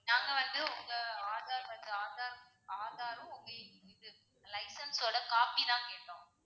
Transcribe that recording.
நாங்க வந்து உங்க ஆதார் வந்து ஆதார், ஆதாரும் உங்க இது license ஓட copy தான் கேட்டோம்.